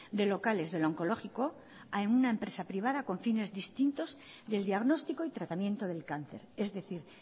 de locales del onkologikoa a una empresa privada con fines distintos del diagnóstico y tratamiento del cáncer es decir